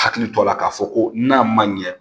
Hakili to a la k'a fɔ ko n'a man ɲɛ